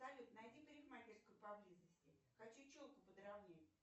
салют найди парикмахерскую поблизости хочу челку подровнять